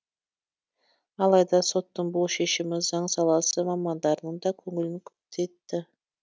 алайда соттың бұл шешімі заң саласы мамандарының да көңілін күпті етті